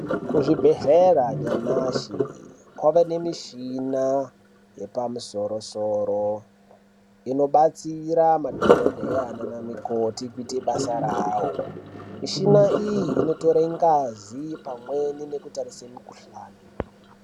Kuzvibhedhlera nyamashi, kwava nemichhina yepamusoro-soro. Inobatsira madhokodheya nana mukoti kuite basa rawo. Mishina iyi inotore ngazi, pamweni ne kutarisa mikhuhlani.